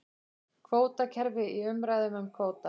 Kvótakerfi í umræðum um kvóta